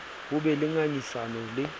ho be le ngangisano le